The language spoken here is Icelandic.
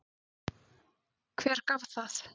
Hver gaf það?